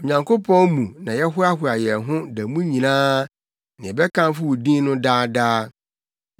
Onyankopɔn mu na yɛhoahoa yɛn ho da mu nyinaa, na yɛbɛkamfo wo din no daa daa.